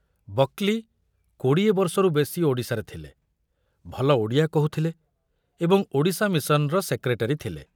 ବକଲି କୋଡ଼ିଏ ବର୍ଷରୁ ବେଶି ଓଡ଼ିଶାରେ ଥିଲେ, ଭଲ ଓଡ଼ିଆ କହୁଥିଲେ ଏବଂ ଓଡ଼ିଶା ମିଶନର ସେକ୍ରେଟାରୀ ଥିଲେ।